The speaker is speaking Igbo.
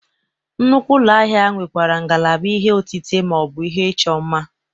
Nnukwu ụlọ ahịa nwekwara ngalaba ihe otite ma ọ bụ ihe ịchọ mma.